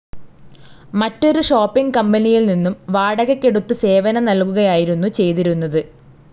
മറ്റൊരു ഷോപ്പിംഗ്‌ കമ്പനിയിൽ നിന്നും വാടകയ്‌ക്കെടുത്തു സേവനം നൽകുകയായിരുന്നു ചെയ്തിരുന്നത്.